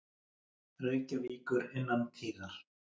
Reykjavíkur innan tíðar.